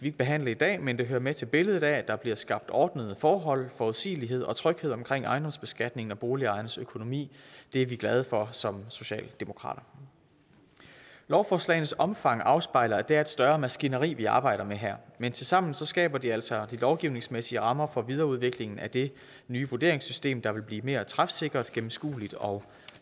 ikke behandle i dag men det hører med til billedet af at der bliver skabt ordnede forhold forudsigelighed og tryghed omkring ejendomsbeskatningen og boligejernes økonomi det er vi glade for som socialdemokrater lovforslagenes omfang afspejler at det er et større maskineri vi arbejder med her men tilsammen skaber de altså de lovgivningsmæssige rammer for videreudviklingen af det nye vurderingssystem der vil blive mere træfsikkert gennemskueligt og